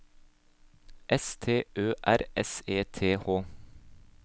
S T Ø R S E T H